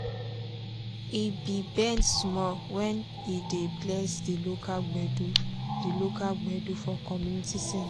he be bend small wen he dey bless di local gbedu di local gbedu for community centre.